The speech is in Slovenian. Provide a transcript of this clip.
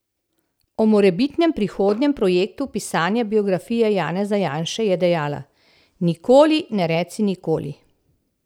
O morebitnem prihodnjem projektu pisanja biografije Janeza Janše je dejala: 'Nikoli ne reci nikoli'.